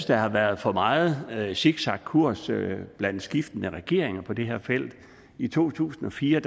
der har været for meget zigzagkurs blandt skiftende regeringer på det her felt i to tusind og fire